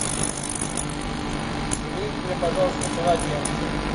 замените мне пожалуйста полотенце